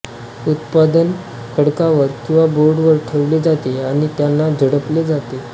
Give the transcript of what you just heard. उत्पादन खडकावर किंवा बोर्डवर ठेवले जाते आणि त्यांना झोडपले जाते